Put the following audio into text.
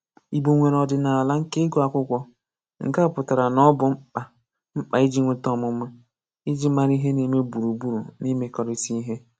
Igbo nwere ọdịnala nke ịgụ akwụkwọ: Nke a pụtara na ọ bụ mkpa mkpa iji nweta ọmụma, iji mara ihe n'eme gburugburu na imekọrịta ihe.